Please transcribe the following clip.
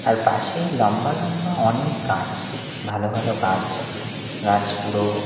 আর পাশেই লম্বা লম্বা অনেক গাছ ভালো ভালো গাছ গাছগুরো --